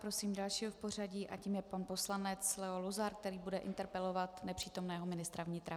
Prosím dalšího v pořadí a tím je pan poslanec Leo Luzar, který bude interpelovat nepřítomného ministra vnitra.